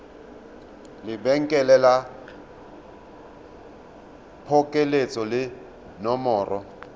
lebenkele la phokoletso le nomoro